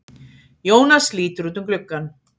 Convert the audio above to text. Jónas lítur út um gluggann.